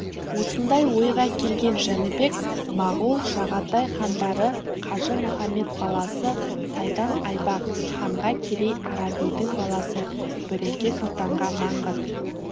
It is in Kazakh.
осындай ойға келген жәнібек моғол жағатай хандары қажы-мұхамед баласы сайдан-айбақ ханға керей-арабидің баласы бүреке сұлтанға маңғыт